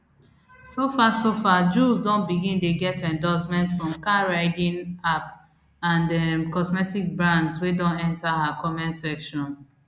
so far so far jools don begin dey get endorsement from car riding app and um cosmetics brands wey don enta her comment section